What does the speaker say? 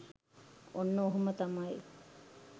ඔන්න ඔහොම තමයි